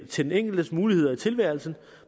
til den enkeltes muligheder i tilværelsen